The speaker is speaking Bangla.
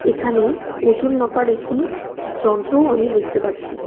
এখানে ওজন মাপার একটি যন্ত্রও আমি দেখতে পাচ্ছি .